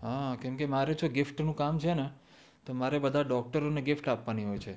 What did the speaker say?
હા કેમ કે મારે જે ગિફ્ટ નું કામ છે ને મારે બધા ડોક્ટરો ને ગિફ્ટ આપવાની હોય છે